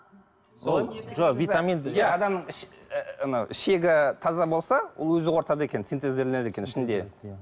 адамның анау шегі таза болса ол өзі қорытады екен синтезделеді екен ішінде